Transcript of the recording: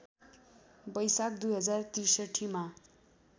बैशाख २०६३ मा